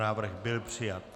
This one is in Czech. Návrh byl přijat.